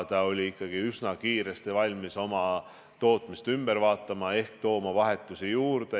Ta oli üsna kiiresti valmis oma tootmist ümber korraldama, vahetusi juurde organiseerima.